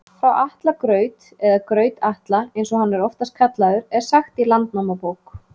Frá Atla graut, eða Graut-Atla eins og hann er oftast kallaður, er sagt í Landnámabók.